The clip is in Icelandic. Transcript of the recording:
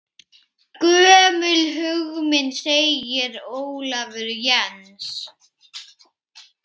Gömul hugmynd segir Ólafur Jens.